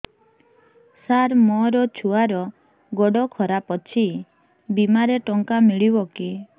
ସାର ମୋର ଛୁଆର ଗୋଡ ଖରାପ ଅଛି ବିମାରେ ଟଙ୍କା ମିଳିବ କି